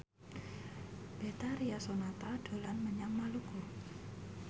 Betharia Sonata dolan menyang Maluku